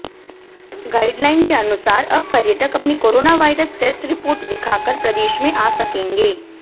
guideline के अनुसार अब पर्यटक अपनी कोरोना वायरस टेस्ट रिपोर्ट दिखाकर प्रदेश में आ सकेंगे